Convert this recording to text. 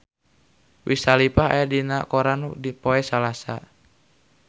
Wiz Khalifa aya dina koran poe Senen